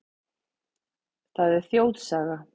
Það er þjóðsaga.